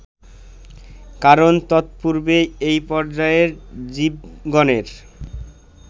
কারণ তৎপূর্বে এই পর্যায়ের জীবগণের